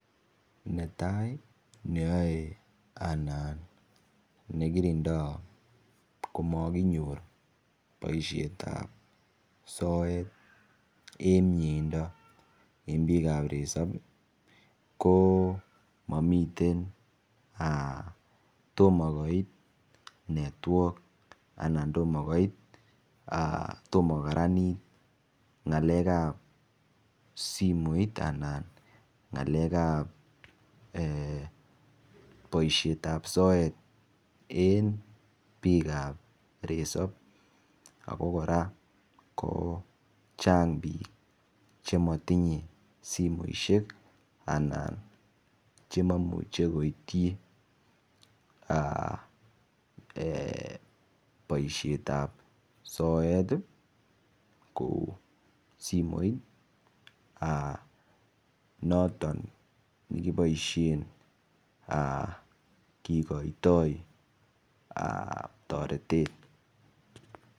Netai neyoe anan nekirindoi komokinyor boishet ap soet eng mieindo eng biik ap resop ko mamiten tomo koit network anan tomo koit tomo kokaranit ng'alek ap simoit anan ng'alek ap boishet ap soet eng biik ap resop ako kora ko chang biik chematinyei simoshek anan chimaimuche koitchi boishet ap soet kou simoit noton nikiboishen kikoitoi toretet